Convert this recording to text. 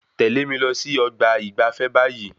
Tẹle mí lọ sí ọgbà ìgbafé báyìí